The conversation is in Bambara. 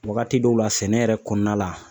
Wagati dɔw la sɛnɛ yɛrɛ kɔnɔna la